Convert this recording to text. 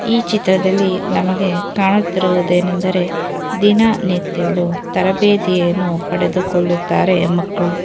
ಈ ಚಿತ್ರದಲ್ಲಿ ನಮಗೆ ಕಾಣುತ್ತಿರುವುದೇನೆಂದರೆ ದಿನನಿತ್ಯಲು ತರಬೇತಿಯನ್ನು ಪಡೆದುಕೊಳ್ಳುತ್ತಾರೆ ಮಕ್ಕಳು.